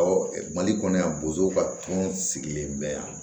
mali kɔnɔ yan bozon ka kun sigilen bɛ yan